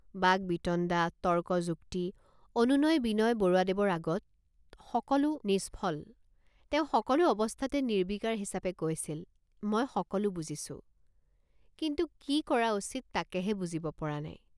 বাক্বিতণ্ডা তৰ্কযুক্তি অনুনয়বিনয় বৰুৱাদেৱৰ আগত সকলো নিষ্ফল তেওঁ সকলো অৱস্থাতে নিৰ্বিকাৰ হিচাপে কৈছিলমই সকলো বুজিছোঁ কিন্তু কি কৰা উচিত তাকেহে বুজিব পৰা নাই।